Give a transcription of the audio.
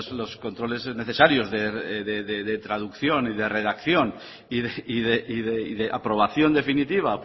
los controles necesarios de traducción y de redacción y de aprobación definitiva